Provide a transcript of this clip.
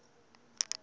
a a ri un wana